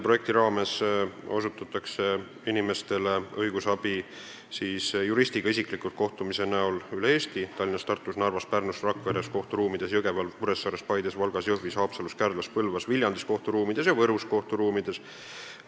Inimestel on võimalik õigusabi saada juristiga isiklikult kohtudes üle Eesti – Tallinnas, Tartus, Narvas, Pärnus, Rakvere kohtu ruumides, Jõgeval, Kuressaares, Paides, Valgas, Jõhvis, Haapsalus, Kärdlas, Põlvas, Viljandi kohtu ruumides ja Võru kohtu ruumides.